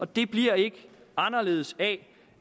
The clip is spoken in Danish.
det bliver ikke anderledes af